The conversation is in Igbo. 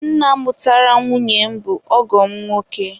Nna mụtara nwunye m bụ ọgọ m nwoke.